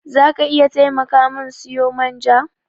Za ka iya taimaka min siyo man ja?